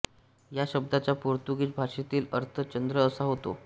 या शब्दाचा पोर्तुगिज भाषेतील अर्थ चंद्र असा होतो